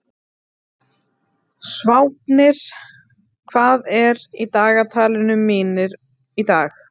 Sváfnir, hvað er í dagatalinu mínu í dag?